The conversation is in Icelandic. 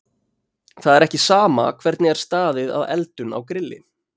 Það er ekki sama hvernig er staðið að eldun á grilli.